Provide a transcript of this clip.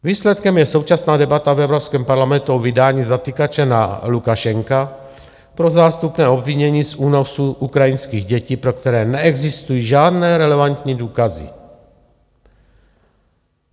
Výsledkem je současná debata v Evropském parlamentu o vydání zatykače na Lukašenka pro zástupné obvinění z únosu ukrajinských dětí, pro které neexistují žádné relevantní důkazy.